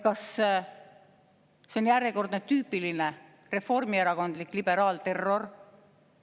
Kas see on järjekordne tüüpiline reformierakondlik liberaalterror?